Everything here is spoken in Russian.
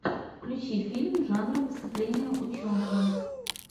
включи фильм жанра выступление ученого